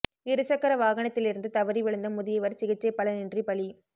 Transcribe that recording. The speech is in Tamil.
இரு சக்கர வாகனத்திலிருந்து தவறி விழுந்த முதியவா் சிகிச்சை பலனின்றி பலி